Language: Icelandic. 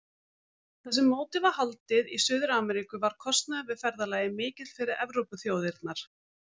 Þar sem mótið var haldið í Suður-Ameríku var kostnaður við ferðalagið mikill fyrir Evrópuþjóðirnar.